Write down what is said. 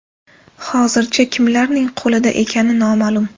Hozircha, kimlarning qo‘lida ekani noma’lum.